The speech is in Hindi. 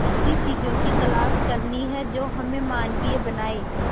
ऐसी चीजों की तलाश करनी है जो हमें मानवीय बनाएं